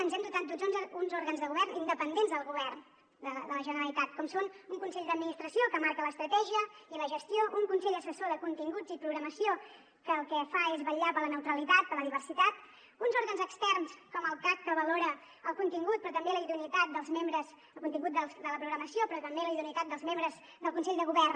ens hem dotat d’uns òrgans de govern independents del govern de la generalitat com són el consell d’administració que en marca l’estratègia i la gestió el consell assessor de continguts i programació que el que fa és vetllar per la neutralitat per la diversitat uns òrgans externs com el cac que valora el contingut de la programació però també la idoneïtat dels membres del consell de govern